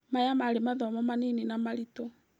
Maya marĩ mathomo manini na maritũ.